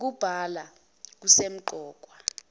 ng okubhalwa kusemqoka